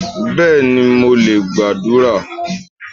Béèni, mo lè gbàdúrà